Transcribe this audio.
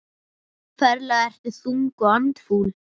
Ferlega ertu þung og andfúl.